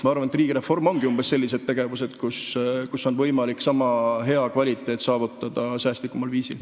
Ma arvan, et riigireform hõlmabki umbes selliseid tegevusi, millega võib saavutada sama hea kvaliteedi säästlikumal viisil.